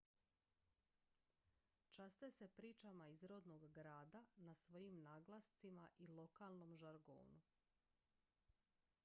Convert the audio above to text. časte se pričama iz rodnog grada na svojim naglascima i lokalnom žargonu